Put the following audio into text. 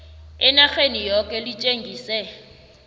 enarheni yoke litjengise